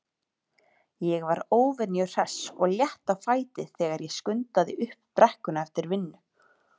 Ég var óvenju hress og létt á fæti þegar ég skundaði upp brekkuna eftir vinnu.